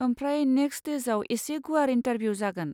आमप्राय next स्टेजआव एसे गुवार इन्टारभिउ जागोन।